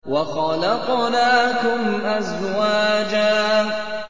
وَخَلَقْنَاكُمْ أَزْوَاجًا